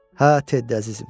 Hə, Teddi əzizim.